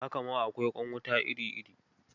Haka ma akwai ƙwan wuta iri-iri